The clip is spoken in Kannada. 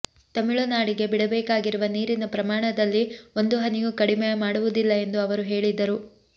ತಮಿಳುನಾಡಿಗೆ ಬಿಡಬೇಕಾಗಿರುವ ನೀರಿನ ಪ್ರಮಾಣದಲ್ಲಿ ಒಂದು ಹನಿಯೂ ಕಡಿಮೆ ಮಾಡವುದಿಲ್ಲ ಎಂದು ಅವರು ಹೇಳಿದರು